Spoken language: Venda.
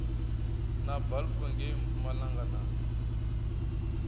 na balfour ngei mpumalanga na